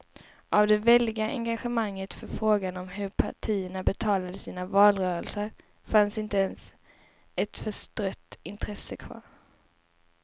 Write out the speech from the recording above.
Av det väldiga engagemanget för frågan om hur partierna betalade sina valrörelser fanns inte ens ett förstrött intresse kvar.